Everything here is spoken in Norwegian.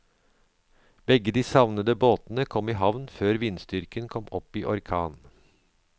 Begge de savnede båtene kom i havn før vindstyrken kom opp i orkan.